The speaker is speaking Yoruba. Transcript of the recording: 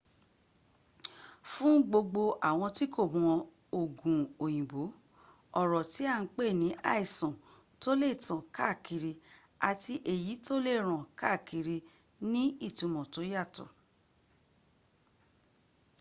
fún gbogbo àwọn ti kò mọ ògùn òyìnbó ọ̀rọ̀ tí à ń pè ní àìsàn tó lè tàn káàkiri àti èyí tó lè ràn káàkiri ní ìtúmọ̀ tó yàtọ̀